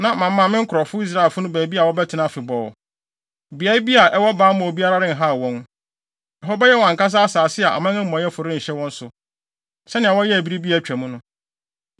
Na mama me nkurɔfo Israelfo no baabi a wɔbɛtena afebɔɔ. Beae bi a ɛwɔ bammɔ a obiara renhaw wɔn. Ɛhɔ bɛyɛ wɔn ankasa asase a aman amumɔyɛfo renhyɛ wɔn so, sɛnea wɔyɛɛ bere bi a atwa mu no,